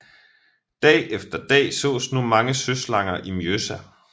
Dag efter dag sås nu mange søslanger i Mjøsa